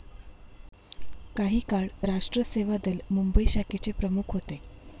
काही काळ राष्ट्र सेवा दल, मुंबई शाखेचे प्रमुख होते.